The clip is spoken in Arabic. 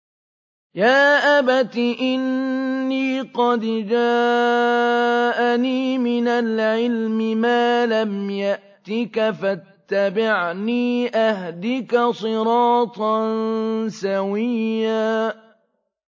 يَا أَبَتِ إِنِّي قَدْ جَاءَنِي مِنَ الْعِلْمِ مَا لَمْ يَأْتِكَ فَاتَّبِعْنِي أَهْدِكَ صِرَاطًا سَوِيًّا